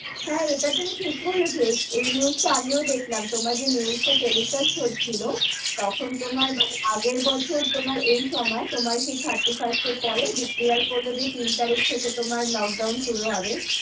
হাঁ, ইটা তুমি ঠিক বলেছো, এই news টা আমিও দেখলাম তোমার যে news টা telecast হচ্ছিলো, তখন তোমার মানে আগের বছর তোমার এই সময় তোমার সেই thirty first এর পরে declare করলো যে তিন তারিক থেকে তোমার লোকডাউন শুরু হবে,